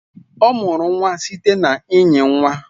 Ọ mụrụ nwa site na ịnyi nwa